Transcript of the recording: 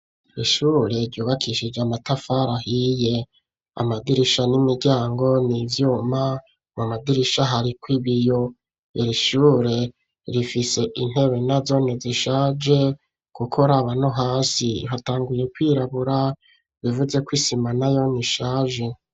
Rishure ryubakishije amatafara ahiye amadirisha n'imiryango n'ivyuma mu amadirisha hariko ibiyo irishure rifise intebe na zone zishaje guko rabano hasi hatanguye kwirabura bivuzeko isima na yo nishaje.